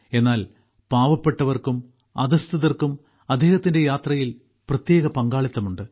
എന്നാൽ പാവപ്പെട്ടവർക്കും അധഃസ്ഥിതർക്കും അദ്ദേഹത്തിന്റെ യാത്രയിൽ പ്രത്യേക പങ്കാളിത്തമുണ്ട്